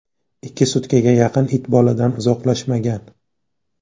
Ikki sutkaga yaqin it boladan uzoqlashmagan.